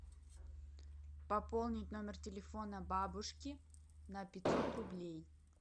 пополнить номер телефона бабушки на пятьсот рублей